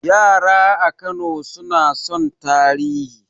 Yara a Kano suna son tarihi